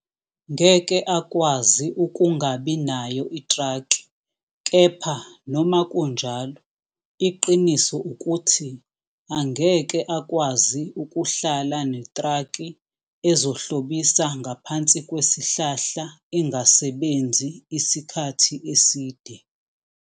Ngeke akwazi ukungabi nayo itraki kepha noma kunjalo iqiniso ukuthi angeke akwazi ukuhlala netraki ezohlobisa ngaphansi kwesihlahla ingasebenzi isikhathi eside.